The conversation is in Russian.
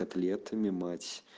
котлетами мать